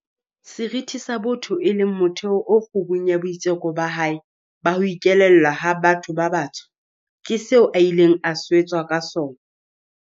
Seriti sa botho, e leng motheo o kgubung ya boitseko ba hae ba ho ikelellwa ha batho ba batsho, ke seo a ileng a swetswa ka sona.